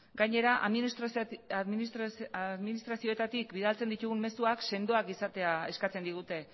gainera administrazioetatik bidaltzen ditugun mezuak sendoak izatea eskatzen digute